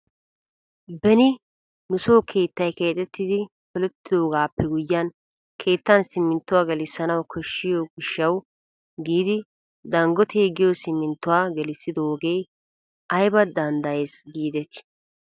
Beni nuso keettay keexettidi polettidoogaappe guyiyan keettan simminttuwaa gelissanawu koshshiyo gishshawu giidi dangootee giyo simminttuwaa gelissidoogee ayba danddayees giidettii ?